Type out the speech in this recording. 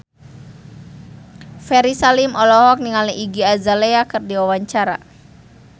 Ferry Salim olohok ningali Iggy Azalea keur diwawancara